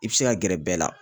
I bɛ se ka gɛrɛ bɛɛ la